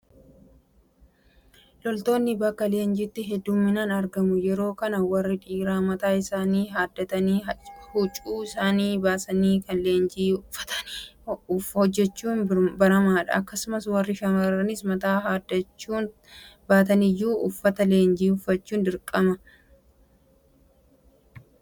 Loltoonni bakka leenjiitti heddumminnaan argamu. Yeroo kana warri dhiiraa mataa isaanii haaddatanii huccuu isaanii baasanii kan leenjii uffatanii hojjechuun baramaadha. Akkasumas warri shaamarraniis mataa haaddachuu baataniyyuu uffata leenjii uffachuun dirqama. Yeroo leenjii waraanaa waanti nuffisiisaan maalidha?